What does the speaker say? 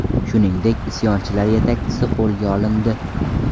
Shuningdek, isyonchilar yetakchisi qo‘lga olindi .